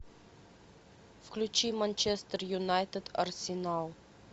включи манчестер юнайтед арсенал